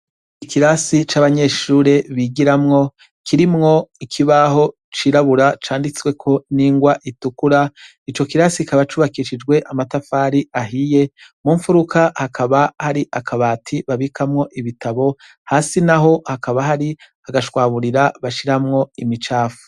Ikirasi c'abanyeshure bigiramwo kirimwo ikibaho cirabura canditsweko n'ingwa itukura. Ico kirasi kikaba cubakishijwe amatafari ahiye, mu mfuruka hakaba hari akabati babikamwo ibitabo, hasi n'aho hakaba hari agashwaburira bashiramwo imicafu.